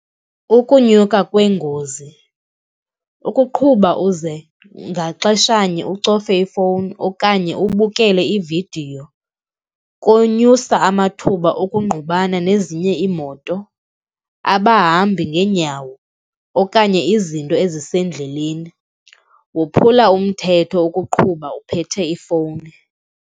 Ukunyuka kweengozi, ukuqhuba uze ngaxeshanye ucofe ifowuni okanye ubukele ividiyo kunyusa amathuba okungqubana nezinye iimoto, abahambi ngeenyawo okanye izinto ezisendleleni. Kophula umthetho ukuqhuba uphethe ifowuni.